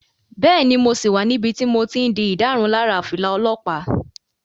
Bẹ́ẹ̀ni, mo sì wà níbi tí mo ti n di ìdárunlárà fìlà olọ́pàá